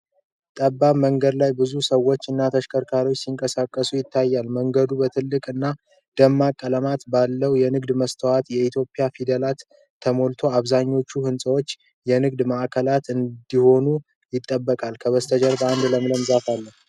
ጠባብ መንገድ ላይ ብዙ ሰዎች እና ተሽከርካሪዎች ሲንቀሳቀሱ ይታያል። መንገዱ በትላልቅ እና ደማቅ ቀለማት ባላቸው የንግድ ማስታወቂያዎችና የኢትዮጵያ ፊደላት ተሞልቷል። አብዛኛው ህንጻዎች የንግድ ማዕከላት እንደሆኑ ይጠቁማል። ከበስተጀርባው አንድ ለምለም ዛፍ አለ።